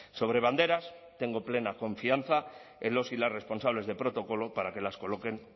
sobre banderas tengo plena confianza en los y las responsables de protocolo para que las coloquen